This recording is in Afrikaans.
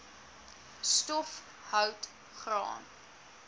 stof hout graan